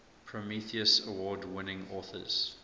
prometheus award winning authors